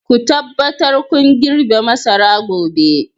Ku tabbata kun girbe masara gobe!